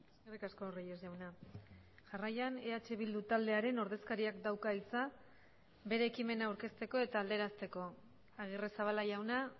eskerrik asko reyes jauna jarraian eh bildu taldearen ordezkariak dauka hitza bere ekimena aurkezteko eta alderazteko agirrezabala jauna